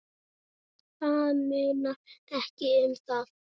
Það munar ekki um það.